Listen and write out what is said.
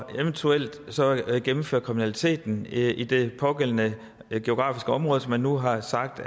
eventuelt så gennemfører kriminaliteten i det pågældende geografiske område som vi nu har sagt